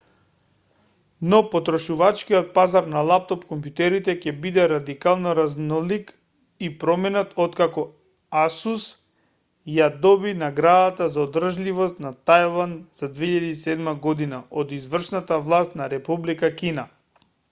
но потрошувачкиот пазар на лаптоп-комјутерите ќе биде радикално разнолик и променет откако asus ја доби наградата за одржливост на тајван за 2007 година од извршната власт на република кина